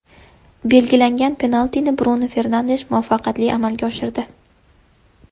Belgilangan penaltini Brunu Fernandesh muvaffaqiyatli amalga oshirdi.